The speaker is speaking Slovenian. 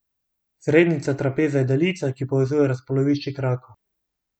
Srednjica trapeza je daljica, ki povezuje razpolovišči krakov.